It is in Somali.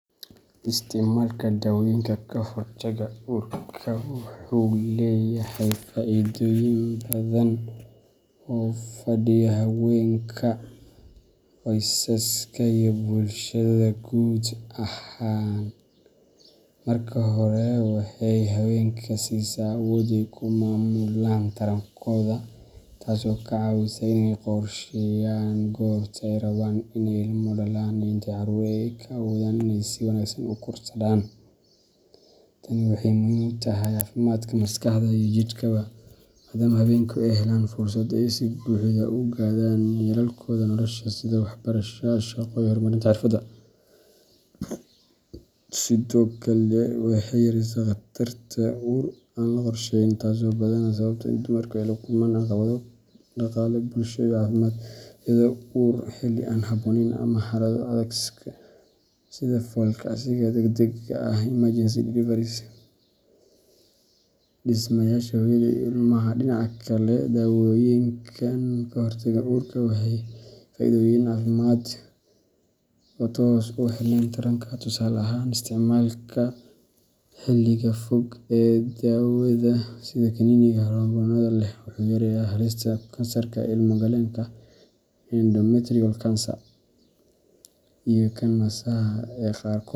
Isticmaalka dawoyinka ka hortagga uurka wuxuu leeyahay faa’iidooyin badan oo u faa’iideeya haweenka, qoysaska iyo bulshada guud ahaan. Marka hore, waxay haweenka siisaa awood ay ku maamulaan tarankooda, taas oo ka caawisa inay qorsheeyaan goorta ay rabaan inay ilmo dhalaan iyo inta caruur ah ee ay awoodaan inay si wanaagsan u korsadaan. Tani waxay muhiim u tahay caafimaadka maskaxda iyo jidhkaba, maadaama haweenku ay helaan fursad ay si buuxda u gaadhaan yoolalkooda nolosha sida waxbarasho, shaqo iyo horumarinta xirfadooda. Sidoo kale, waxay yaraysaa khatarta uur aan la qorshayn, taas oo badanaa sababta in dumarku ay la kulmaan caqabado dhaqaale, bulsho iyo caafimaad, sida uur xilli aan habboonayn ama xaalado adag sida fool kacsiga degdegga ah emergency deliveries iyo dhimashada hooyada iyo ilmaha. Dhinaca kale, dawooyinka ka hortagga uurka waxay leeyihiin faa’iidooyin caafimaad oo aan toos ugu xirnayn taranka. Tusaale ahaan, isticmaalka xilliga fog ee dawada sida kaniiniga hormoonnada leh wuxuu yareeyaa halista kansarka ilmo galeenka endometrial cancer iyo kan naasaha ee qaarkood.